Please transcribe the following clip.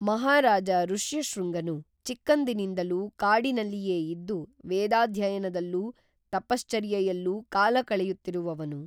ಮಹಾರಾಜ ಋಷ್ಯಶೃಂಗನು ಚಿಕ್ಕಂದಿನಿಂದಲೂ ಕಾಡಿನಲ್ಲಿಯೇ ಇದ್ದು ವೇದಾಧ್ಯಯನದಲ್ಲೂ ತಪಶ್ಚರ್ಯೆಯಲ್ಲೂ ಕಾಲಕಳೆಯುತ್ತಿರುವವನು